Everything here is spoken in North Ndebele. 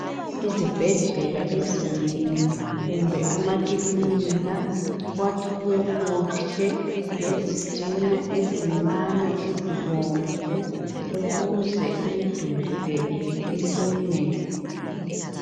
Izibhedlela ezinengi kumbe amakilinika kwakhiwe kuhle ngezitina ezincane ezibomvu ukuze imiduli le iqine.